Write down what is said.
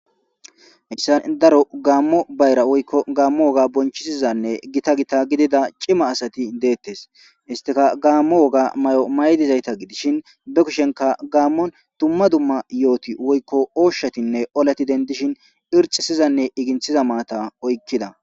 Isan daro gaammo bayra woykko gammo woga bonchisizanne gita gita gidida cima asati deettes istika gaammo woga may'o maydizayta gidishin be kushenka gaammon dumma dumma yooti woykko oshshatinne olati dendishin irxisizanne iginthiza maata oykkida.